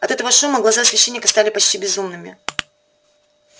от этого шума глаза священника стали почти безумными